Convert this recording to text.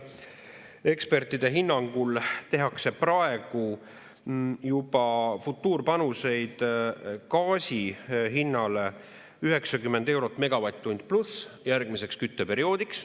Ekspertide hinnangul tehakse praegu juba futuurpanuseid gaasi hinnale 90+ eurot megavatt-tund järgmiseks kütteperioodiks.